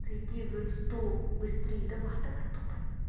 зайди в инсту быстрее давай давай топай